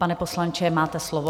Pane poslanče, máte slovo.